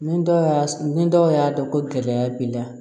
Ni dɔw y'a ni dɔw y'a dɔn ko gɛlɛya b'i la